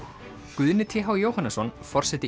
Guðni t h Jóhannesson forseti